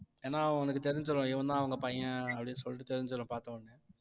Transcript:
ஏன்னா அவனுக்கு தெரிஞ்சிரும் இவந்தான் அவங்க பையன் அப்படின்னு சொல்லிட்டு தெரிஞ்சிரும் பார்த்த உடனே